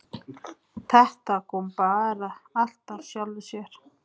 Þetta kom bara allt af sjálfu sér.